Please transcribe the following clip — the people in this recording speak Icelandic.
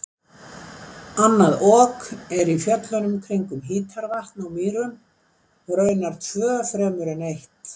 Annað Ok er í fjöllunum kringum Hítarvatn á Mýrum og raunar tvö fremur en eitt.